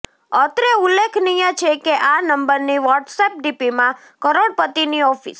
અત્રે ઉલ્લેખનીય છે કે આ નંબરની વોટસએપ ડીપીમાં કરોડપતિની ઓફિસ